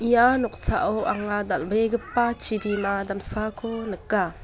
ia noksao anga dal·begipa chibima damsako nika.